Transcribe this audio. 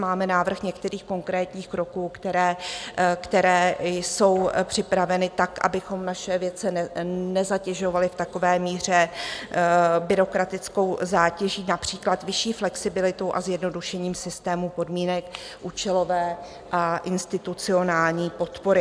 Máme návrh některých konkrétních kroků, které jsou připraveny tak, abychom naše vědce nezatěžovali v takové míře byrokratickou zátěží, například vyšší flexibilitu a zjednodušení systému podmínek účelové a institucionální podpory.